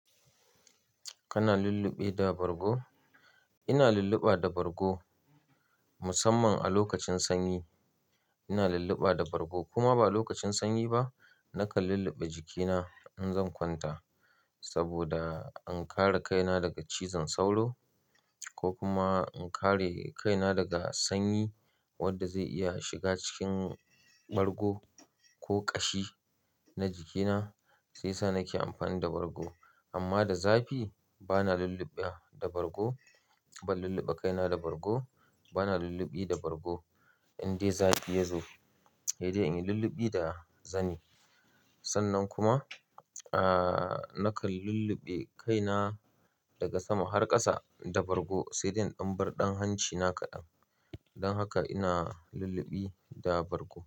Kana lulluɓe da bargo? Ina lulluɓa da bargo musamman a lokacin sanyi. Ina lulluɓa da bargo kuma ba lokacin sanyi ba. Nakan lulluɓe jikina in zan kwanta saboda in kare kaina daga cizon sauro ko kuma in kare kaina daga sanyi wanda zai iya shiga cikin bargo ko ƙashi na jikina sai sa nake amfani da bargo. Amma da zafi bana lulluɓa da bargo, ban lulluɓe kaina da bargo, bana lulluɓi da bargo. Indai zafi ya zo, dai in yi lulluɓi da zani. Sannan kuma, ah nakan lulluɓe kaina daga sama har ƙasa da bargo sai dai in ɗan bar ɗan hancina kaɗan. Don haka ina lulluɓi da bargo.